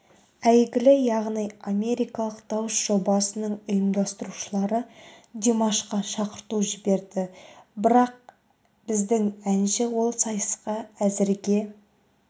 әйгілі яғни америкалық дауыс жобасының ұйымдастырушылары димашқа шақырту жіберді бірақ біздің әнші ол сайысқа әзірге